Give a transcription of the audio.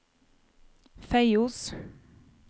Feios